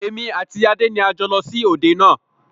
Èmi àti Adé ni a jọ lọ sí òde náà